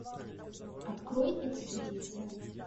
открой экспедиция